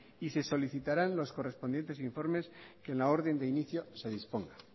y se solicitarán los correspondientes informes que en la orden de inicio se dispongan